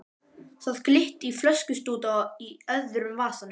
Það glitti í flöskustút í öðrum vasanum.